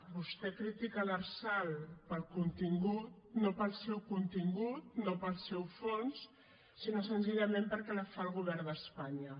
vostè critica l’lrsal no pel seu contingut no pel seu fons sinó senzillament perquè la fa el govern d’espanya